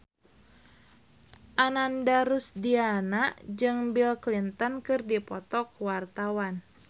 Ananda Rusdiana jeung Bill Clinton keur dipoto ku wartawan